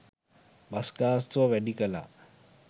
bus ගාස්තුව වැඩි කළා